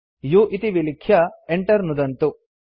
u इति विलिख्य enter नुदन्तु